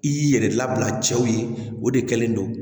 I y'i yɛrɛ labila cɛw ye o de kɛlen don